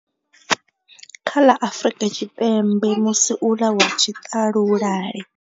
Kha ḽa Afrika Tshipembe musi uḽa wa tshiṱalula le.